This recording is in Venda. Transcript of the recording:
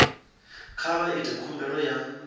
kha vha ite khumbelo ya